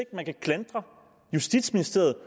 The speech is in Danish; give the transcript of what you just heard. at man kan klandre justitsministeriet